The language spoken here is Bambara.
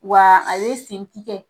Wa ale sen ti kɛ.